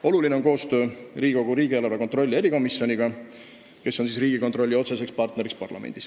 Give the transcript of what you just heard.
Oluline on koostöö riigieelarve kontrolli erikomisjoniga, kes on parlamendis Riigikontrolli otsene partner.